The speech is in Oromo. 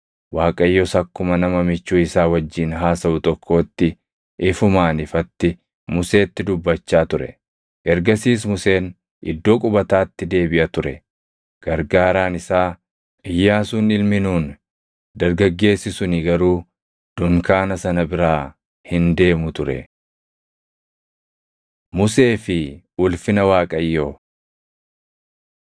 Waaqayyos akkuma nama michuu isaa wajjin haasaʼu tokkootti ifumaan ifatti Museetti dubbachaa ture. Ergasiis Museen iddoo qubataatti deebiʼa ture; gargaaraan isaa, Iyyaasuun ilmi Nuuni dargaggeessi suni garuu dunkaana sana biraa hin deemu ture. Musee fi Ulfina Waaqayyoo